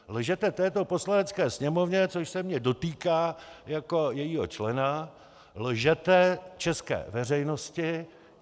Lžete této Poslanecké sněmovně, což se mě dotýká jako jejího člena, lžete české veřejnosti.